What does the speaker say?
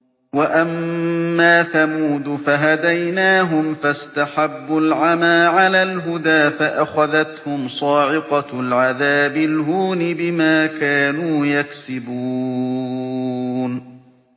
وَأَمَّا ثَمُودُ فَهَدَيْنَاهُمْ فَاسْتَحَبُّوا الْعَمَىٰ عَلَى الْهُدَىٰ فَأَخَذَتْهُمْ صَاعِقَةُ الْعَذَابِ الْهُونِ بِمَا كَانُوا يَكْسِبُونَ